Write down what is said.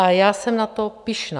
A já jsem na to pyšná.